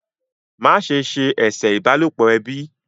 Ma se ṣe eṣe ìbálòpọ̀ ẹbí!